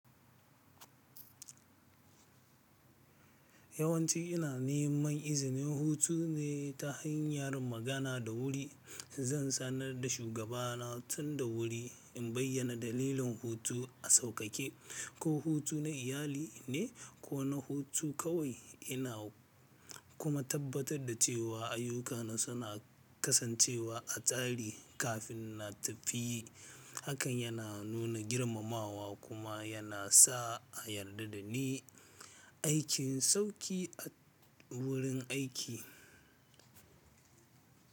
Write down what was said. Yawanci ina neman izinin hutu ne ta hanyar magana da wuri. Zan sanar da shugabana tun da wuri in bayyana dalilin hutu a sauƙaƙe, ko hutu na iyali ne ko na hutu kawai. Ina kuma tabbatar da cewa ayyukana suna kasancewa a tsari kafin na tafi. Hakan yana nuna girmamawa kuma yana sa a yarda da ni aikin sauki a wurin aiki.